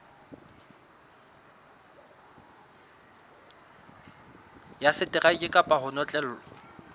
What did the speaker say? ya seteraeke kapa ho notlellwa